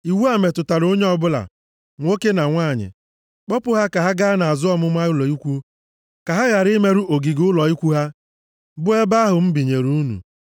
Iwu a metụtara onye ọbụla, nwoke na nwanyị. Kpọpụ ha ka ha gaa nʼazụ ọmụma ụlọ ikwu, ka ha ghara imerụ ogige ụlọ ikwu ha bụ ebe ahụ m binyere unu.”